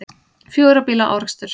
Fjögurra bíla árekstur